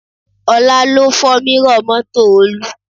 Ọlá ló fọ́ mírọ̀ mọ́tò Olú